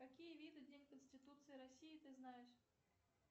какие виды день конституции россии ты знаешь